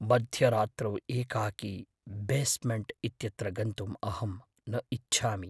मध्यरात्रौ एकाकी बेस्मेण्ट् इत्यत्र गन्तुम् अहं न इच्छामि।